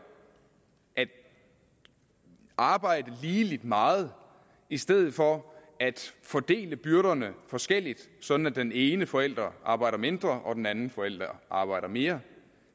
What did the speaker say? at arbejde lige meget i stedet for at fordele byrderne forskelligt sådan at den ene forælder arbejder mindre og den anden forælder arbejder mere